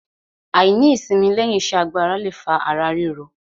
Àìní ìsimi lẹ́yìn iṣẹ́ agbára le fa ara ríro.